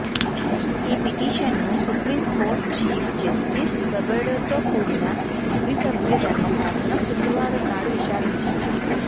ఈ పిటిషన్ను supreme court chief justice బొబ్డేతో కూడిన ద్విసభ్య ధర్మాసనం శుక్రవారం నాడు విచారించింది